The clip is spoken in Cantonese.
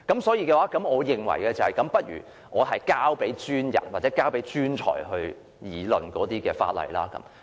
所以，我認為倒不如把這項法例交給專人或專才去議論吧。